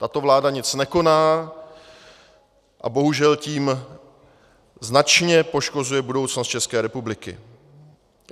Tato vláda nic nekoná a bohužel tím značně poškozuje budoucnost České republiky.